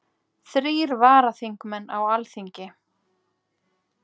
Þrír varaþingmenn á Alþingi